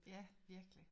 Ja virkelig